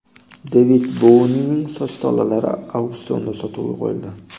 Devid Bouining soch tolalari auksionda sotuvga qo‘yildi.